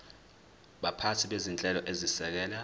baphathi bezinhlelo ezisekela